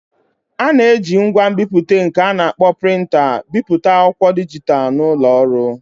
A na-eji ngwa nbipute nke a na-akpọ Prịnta bipụta akwụkwọ dijitalụ n'ụlọ ọrụ